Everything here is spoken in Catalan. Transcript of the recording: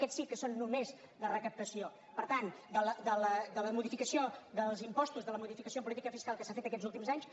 aquests sí que són només de recaptació per tant de la modificació dels impostos de la modificació de política fiscal que s’ha fet aquests últims anys